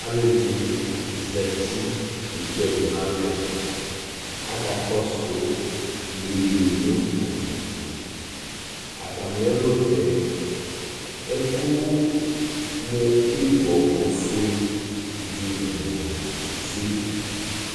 alò ɛdini zati kezu ɛlu n'alɛ aka kɔsu yeye no ugli to atami ɛlutɛ ɛkò mo ibɔ ofue idzo n'ɛwlu ke ze